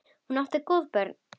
Hún átti góð börn.